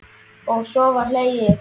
Og svo var hlegið.